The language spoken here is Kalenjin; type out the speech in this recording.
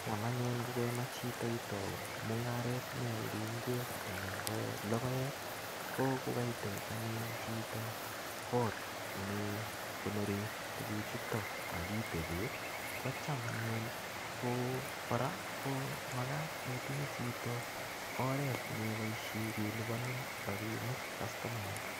Cham anyun ngokemach chito itau mung'aret ne aldai ngwek anan ko logoek, ko kokaitech anyun chito kot nekonore tuguchuto, akitebe. Kocham anyun ko kora, ko makat itinye chito oret ne iboisie kelipanin rabinik kastomaek.